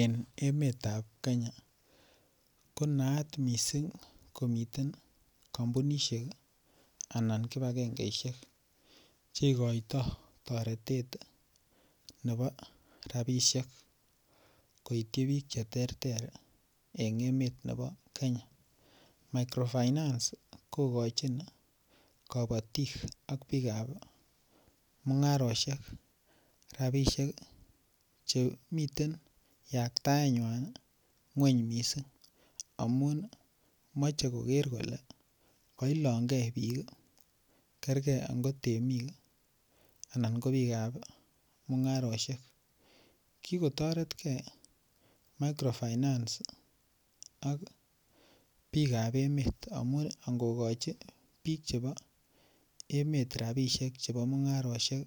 En emetab Kenya ko naat mising komiten kampunisiek anan kibagengesiek Che igoitoi toretet nebo rabisiek koityi bik Che terter en emet nebo Kenya microfinance kogochin kabatik ak bikap mungarosiek rabisiek Che miten yaktaenywa ngwony mising amun moche koger kole kailong ge bik kerge ango temik anan ko bikap mungarosiek ki kotoretge microfinance ak bikap emet amun angokochi bikap emet rabisiek chebo mungarosiek